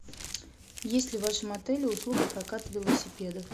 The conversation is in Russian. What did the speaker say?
есть ли в вашем отеле услуга проката велосипедов